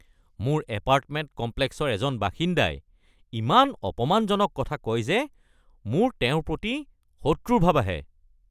মোৰ এপাৰ্টমেণ্ট কমপ্লেক্সৰ এজন বাসিন্দাই ইমান অপমানজনক কথা কয় যে মোৰ তেওঁৰ প্ৰতি শত্ৰুৰ ভাব আহে।